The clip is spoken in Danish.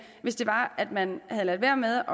hvis man havde ladet være med